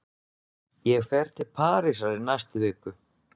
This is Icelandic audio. Ég fer til Parísar í næstu viku.